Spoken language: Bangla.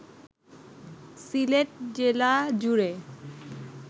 সিলেট জেলাজুড়ে